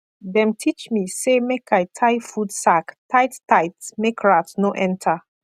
dem teach me say make i tie food sack tight tight make rat no enter